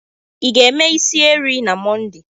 Ị ga-eme isi eri na Monde?